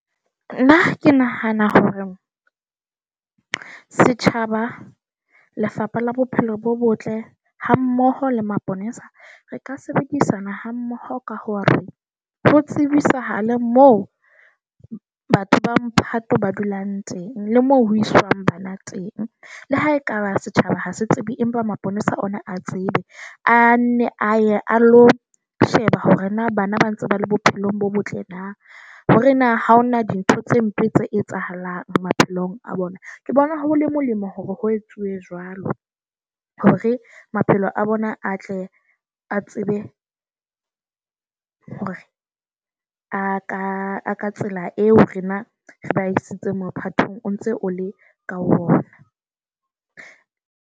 Nna ke nahana hore setjhaba, Lefapha la Bophelo bo Botle, hammoho le maponesa, re ka sebedisana hammoho ka hore ho tsebisahale mo batho ba Mphato ba dulang teng le mo ho iswang bana teng. Le ha ekaba setjhaba ha se tsebe empa maponesa ona a tsebe a nne a ye a lo sheba hore na bana ba ntse ba le bophelong bo botle na. Hore na ha hona dintho tse mpe tse etsahalang maphelong a bona. Ke bona ho le molemo hore ho etsuwe jwalo hore maphelo a bona a tle a tsebe. Be a ka ka tsela eo rena re ba isitse mophatong o ntse ole ka ho bona .